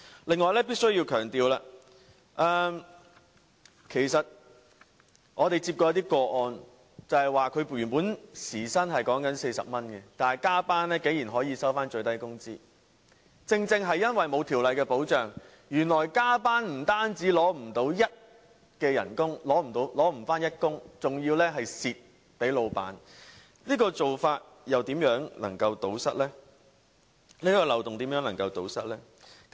此外，我必須強調，我們曾接獲一些個案的時薪原本是40元，但加班竟然只給予最低工資，這正正是因為欠缺法律保障，原來加班不但無法領取等份的工資，還要吃虧給老闆，如何能夠堵塞這個漏洞呢？